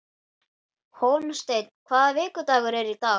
Hólmsteinn, hvaða vikudagur er í dag?